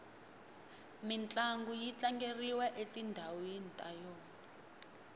mintlangu yi tlangeriwa etindhawini ta yona